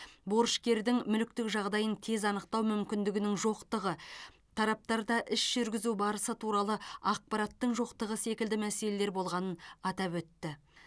борышкердің мүліктік жағдайын тез анықтау мүмкіндігінің жоқтығы тараптарда іс жүргізу барысы туралы ақпараттың жоқтығы секілді мәселелер болғанын атап өтті